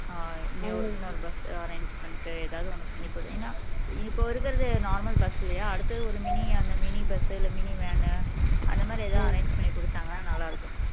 ஆஹ் இன்னொ இன்னொரு bus arrange பண்ணிட்டு எதாவது ஒண்ணு பண்ணி கொ ஏன்னா இப்போ இருக்குறது normal bus இல்லையா அடுத்தது ஒரு mini அந்த mini bus உ இல்லன்னா mini van உ அந்த மாதிரி எதாவது arrange பண்ணி கொடுத்தாங்கன்னா நல்லா இருக்கும்